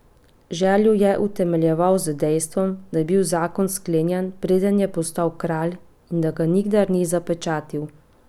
Željo je utemeljeval z dejstvom, da je bil zakon sklenjen, preden je postal kralj, in da ga nikdar ni zapečatil.